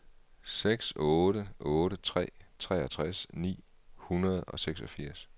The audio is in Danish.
seks otte otte tre treogtres ni hundrede og seksogfirs